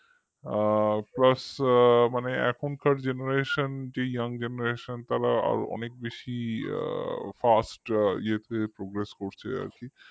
আ plus মানে এখনকার generation মানে যে younggeneration তারা অনেক বেশি fast যে হারে progress করছে আর কি